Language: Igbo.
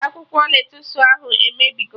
Akwụkwọ lettusu ahụ emebigo!